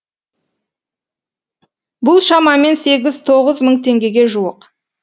бұл шамамен сегіз тоғыз мың теңгеге жуық